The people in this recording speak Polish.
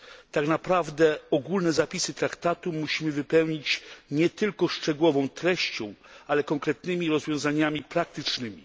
Tak naprawdę ogólne zapisy traktatu musimy wypełnić nie tylko szczegółową treścią, ale konkretnymi rozwiązaniami praktycznymi.